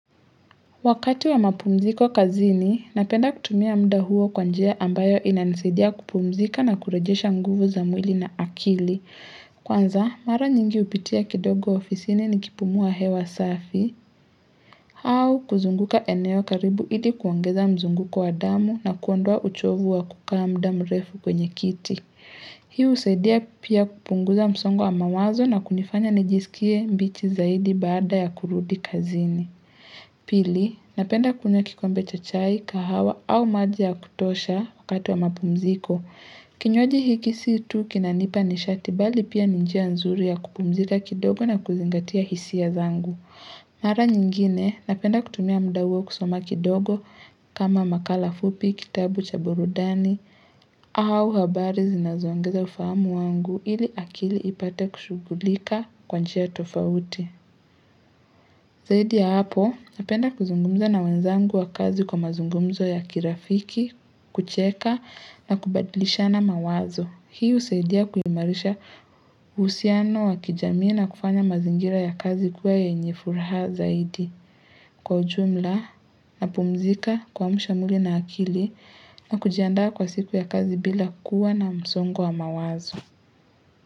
Wakati wa mapumziko kazini, napenda kutumia muda huo kwa njia ambayo inanisaidia kupumzika na kurejesha nguvu za mwili na akili. Kwanza, mara nyingi hupitia kidogo ofisini nikipumua hewa safi, au kuzunguka eneo karibu ili kuongeza mzunguko wa damu na kuondoa uchovu wa kukaa muda mrefu kwenye kiti. Hii husaidia pia kupunguza msongo wa mawazo na kunifanya nijisikie mbichi zaidi baada ya kurudi kazini. Pili, napenda kunywa kikombe cha chai kahawa au maji ya kutosha wakati wa mapumziko Kinywaji hiki si tu kinanipa nishati bali pia ni njia nzuri ya kupumzika kidogo na kuzingatia hisia zangu Mara nyingine, napenda kutumia muda huo kusoma kidogo kama makala fupi, kitabu cha burudani au habari zinazoongeza ufahamu wangu ili akili ipate kushughulika kwa njia tofauti Zaidi ya hapo, napenda kuzungumza na wenzangu wa kazi kwa mazungumzo ya kirafiki, kucheka na kubadilishana mawazo. Hii husaidia kuimarisha uhusiano wa kijamii na kufanya mazingira ya kazi kuwa yenye furaha zaidi. Kwa ujumla, napumzika kuamsha mwili na akili na kujiandaa kwa siku ya kazi bila kuwa na msongo wa mawazo.